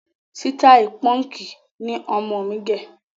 Sitai Pọ́nkì ni ọmọ náà gẹ